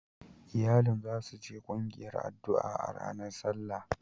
Iyalin za su je kungiyar addu'a a ranar Sallah.